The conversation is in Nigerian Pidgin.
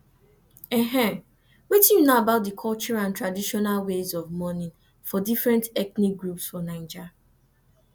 wetin you know about di cultural and traditional ways of mourning for different ethnic groups for naija